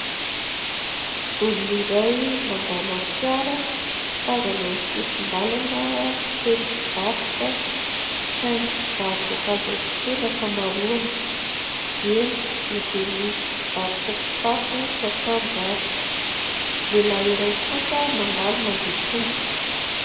Olona iray mandalo amin'ny fiara, mitazana ny sisin-dalana feno mpivarotra saingy mpivaro-boankazo avokoa ny ankamaroany, eny na dia misy mpivaotra kitapo sy akanjo aza. Lehilahy iray kosa mandalo mandeha tongotra.